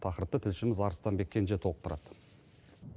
тақырыпты тілшіміз арыстанбек кенже толықтырады